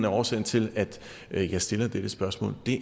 årsagen til at jeg stiller dette spørgsmål